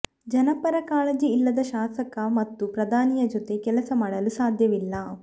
ಜನಪರ ಕಾಳಜಿ ಇಲ್ಲದ ಶಾಸಕ ಮತ್ತು ಪ್ರಧಾನಿಯ ಜೊತೆ ಕೆಲಸ ಮಾಡಲು ಸಾಧ್ಯವಿಲ್ಲ